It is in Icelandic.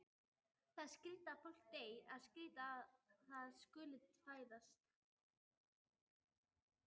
Það er skrýtið að fólk deyi, skrýtið að það skuli fæðast.